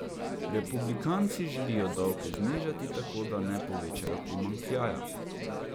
Republikanci želijo davke znižati tako, da ne povečajo primanjkljaja.